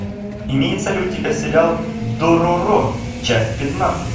имеется ли у тебя сериал дороро часть пятнадцать